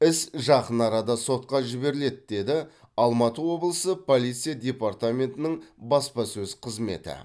іс жақын арада сотқа жіберіледі деді алматы облысы полиция департаментінің баспасөз қызметі